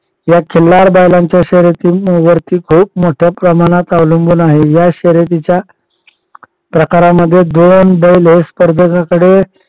या खिल्लार बैलांच्या शर्यतींवरती खूप मोठ्या प्रमाणात अवलंबून आहे. या शर्यतीच्या प्रकारामध्ये दोन बैल हे स्पर्धेकडे